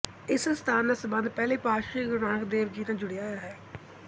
ਇਸ ਅਸਥਾਨ ਦਾ ਸਬੰਧ ਪਹਿਲੀ ਪਾਤਸ਼ਾਹੀ ਗੁਰੂ ਨਾਨਕ ਦੇਵ ਜੀ ਨਾਲ ਜੁੜਿਆ ਹੋਇਆ ਹੈ